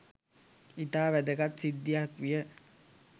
ඉතා වැදගත් සිද්ධියක් විය